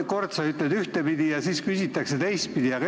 Kord sa ütled ühtepidi ja kui jälle küsitakse, siis teistpidi.